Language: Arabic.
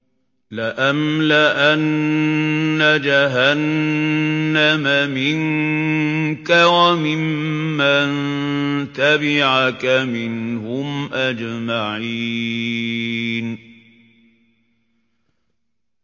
لَأَمْلَأَنَّ جَهَنَّمَ مِنكَ وَمِمَّن تَبِعَكَ مِنْهُمْ أَجْمَعِينَ